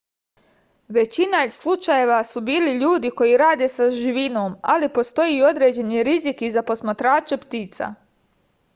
većina slučajeva su bili ljudi koji rade sa živinom ali postoji određeni rizik i za posmatrače ptica